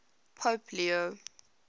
pope leo